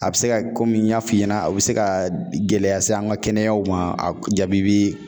A bɛ se ka kɔmi n y'a f'i ɲɛna a bɛ se ka gɛlɛya se an ka kɛnɛyaw ma, a jaabi bɛ